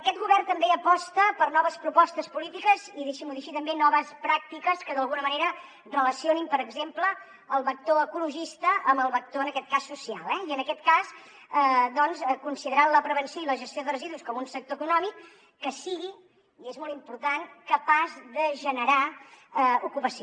aquest govern també aposta per noves propostes polítiques i deixi’m ho dir així també noves pràctiques que d’alguna manera relacionin per exemple el vector ecologista amb el vector en aquest cas social eh i en aquest cas doncs considerant la prevenció i la gestió de residus com un sector econòmic que sigui i és molt important capaç de generar ocupació